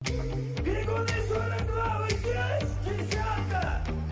бегу бегу бегу вы здесь девчата